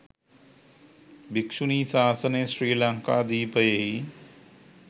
භික්‍ෂුණී ශාසනය ශ්‍රී ලංකාද්වීපයෙහි